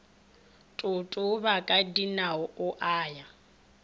totoba ka dinao a ya